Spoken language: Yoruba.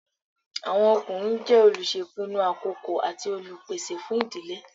Àwọn ọkùnrin jẹ́ olùṣèpinu àkọ́kọ́ àti Olùpèsè fún ìdílé